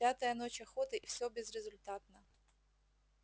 пятая ночь охоты и все безрезультатно